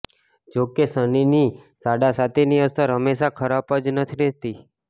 જો કે શનિની સાડાસાતીની અસર હંમેશા ખરાબ જ નથી રહેતી